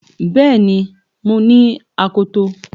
Bẹ́ẹ̀ni mo ní akoto